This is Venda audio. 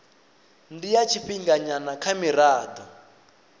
ndi ya tshifhinganyana kha mirado